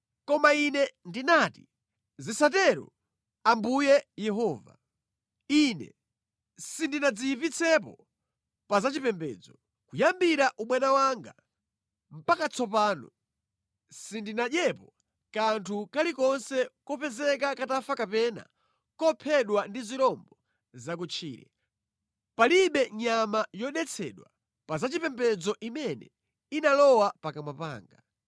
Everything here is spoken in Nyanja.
Koma ine ndinati, “Zisatero, Ambuye Yehova! Ine sindinadziyipitsepo pa zachipembedzo. Kuyambira ubwana wanga mpaka tsopano, sindinadyepo kanthu kalikonse kopezeka katafa kapena kophedwa ndi zirombo za kutchire. Palibe nyama yodetsedwa pa zachipembedzo imene inalowa pakamwa panga.”